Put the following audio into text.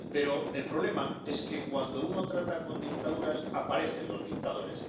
Pero el problema es que, cuando uno trata con dictaduras, aparecen los dictadores.